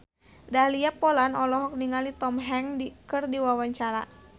Dahlia Poland olohok ningali Tom Hanks keur diwawancara